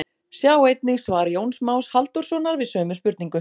Sjá einnig svar Jóns Más Halldórssonar við sömu spurningu.